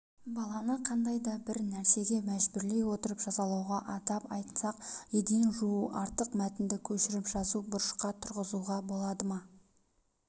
баланы қандай да бір нәрсеге мәжбүрлей отырып жазалауға атап айтсақ еден жуу артық мәтінді көшіріп жазу бұрышқа тұрғызуға болады ма